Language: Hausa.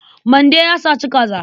Mande ya saci kaza.